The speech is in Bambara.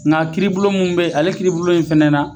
Nga kiiribulon min be ale kiiribulon in fɛnɛ na